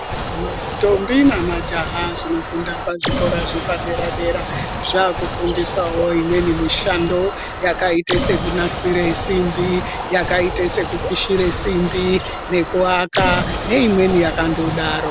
Mandombi nemajaha zvinofunda pazvikora zvepadera dera zvakufundisawo imweni mishando yakaite sekunasire simbi yakaite sekupishire simbi nekuaka neimweni yakandodaro.